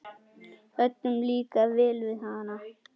Öllum líkaði vel við hana.